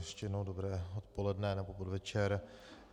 Ještě jednou dobré odpoledne, nebo podvečer.